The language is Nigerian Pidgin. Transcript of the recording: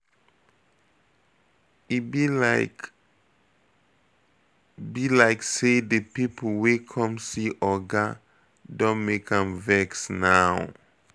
E be like be like say the people wey come see oga Don make am vex now